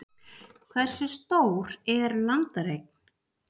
hversu stór er landareign